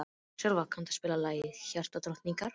Sölva, kanntu að spila lagið „Hjartadrottningar“?